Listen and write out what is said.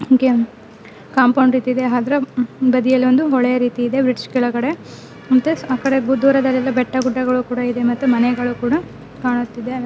Game compound ರೀತಿ ಇದೆ-- ಅದರ ಬದಿಯಲ್ಲಿ ಒಂದು ಹೊಳೆ ರೀತಿ ಇದೆ ಬ್ರಿಡ್ಜ್ ಕೆಳಗಡೆ ಮತ್ತೆ ಆಕಡೆ ದೂರದಲ್ಲಿ ಬೆಟ್ಟ ಗುಡ್ಡಗಳು ಕೂಡ ಇದೆ ಮತ್ತು ಮನೆಗಳು ಕೂಡ ಕಾಣುತ್ತಿದೆ.